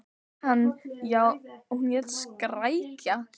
Hann: Já, og hún hét Skrækja.